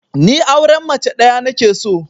Ni auren mace ɗaya nake so